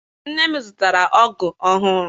Nne m zụtara ọgụ ọhụụ.